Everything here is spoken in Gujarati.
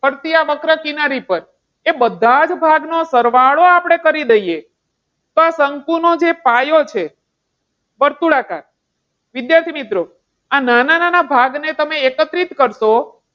ફરતે આ વક્ર કિનારી પર એ બધા જ ભાગનો સરવાળો આપણે કરી દઈએ તો આ શંકુનું જે પાયો છે વર્તુળાકાર. વિદ્યાર્થીમિત્રો, આ નાના નાના ભાગને તમે એકત્રિત કરશો.